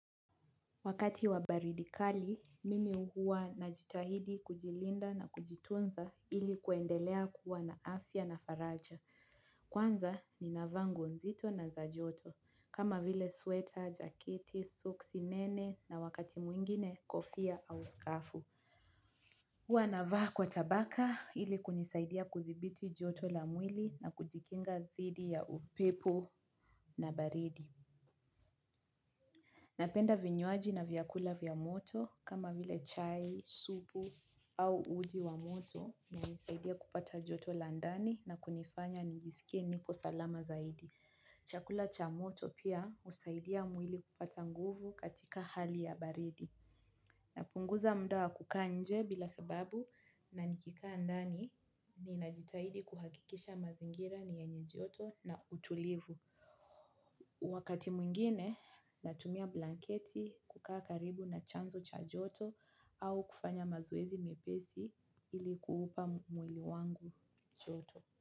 Wakati wa baridi kali, mimi huwa najitahidi kujilinda na kujitunza ili kuendelea kuwa na afya na faraja. Kwanza, ninavaa nguo nzito na za joto, kama vile sweater, jaketi, soksi, nene na wakati mwingine, kofia au skafu. Huwa navaa kwa tabaka ili kunisaidia kudhibiti joto la mwili na kujikinga dhidi ya upepo na baridi. Napenda vinywaji na vyakula vya moto kama vile chai, supu au uji wa moto inanisaidia kupata joto la ndani na kunifanya nijisikie niko salama zaidi. Chakula cha moto pia husaidia mwili kupata nguvu katika hali ya baridi. Napunguza mda wa kukaa nje bila sababu na nikikaa ndani ninajitahidi kuhakikisha mazingira ni yenye joto na utulivu. Wakati mwingine natumia blanketi kukaa karibu na chanzo cha joto au kufanya mazoezi mepesi ili kuupa mwili wangu joto.